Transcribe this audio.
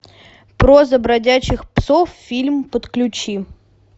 проза бродячих псов фильм подключи